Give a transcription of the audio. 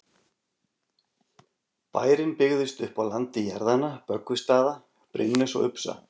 Bærinn byggðist upp á landi jarðanna Böggvisstaða, Brimness og Upsa.